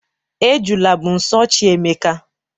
Ejula bụ nso chi Emeka.